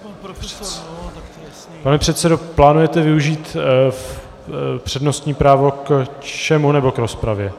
Pane předsedo, plánujete využít přednostní právo k čemu nebo k rozpravě?